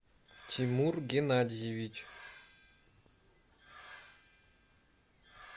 тимур геннадьевич